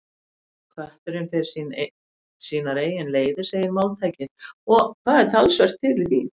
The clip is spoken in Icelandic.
Kötturinn fer sínar eigin leiðir, segir máltækið, og það er talsvert til í því.